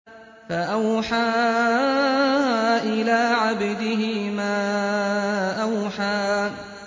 فَأَوْحَىٰ إِلَىٰ عَبْدِهِ مَا أَوْحَىٰ